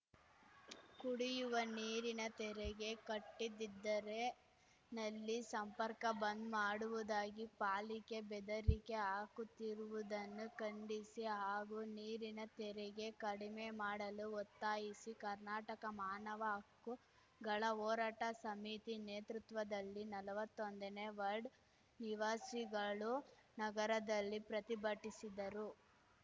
ಕುಡಿಯುವ ನೀರಿನ ತೆರಿಗೆ ಕಟ್ಟಿದಿದ್ದರೆ ನಲ್ಲಿ ಸಂಪರ್ಕ ಬಂದ್‌ ಮಾಡುವುದಾಗಿ ಪಾಲಿಕೆ ಬೆದರಿಕೆ ಹಾಕುತ್ತಿರುವುದನ್ನು ಖಂಡಿಸಿ ಹಾಗೂ ನೀರಿನ ತೆರಿಗೆ ಕಡಿಮೆ ಮಾಡಲು ಒತ್ತಾಯಿಸಿ ಕರ್ನಾಟಕ ಮಾನವ ಹಕ್ಕುಗಳ ಹೋರಾಟ ಸಮಿತಿ ನೇತೃತ್ವದಲ್ಲಿ ನಲ್ವತ್ತೊಂದನೇ ವರ್ಡ್ ನಿವಾಸಿಗಳು ನಗರದಲ್ಲಿ ಪ್ರತಿಭಟಿಸಿದರು